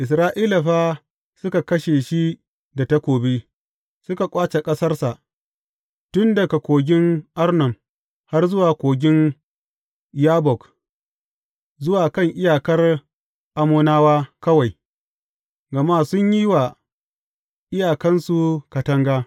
Isra’ila fa suka kashe shi da takobi, suka ƙwace ƙasarsa, tun daga kogin Arnon har zuwa kogin Yabbok, zuwa kan iyakar Ammonawa kawai, gama sun yi wa iyakansu katanga.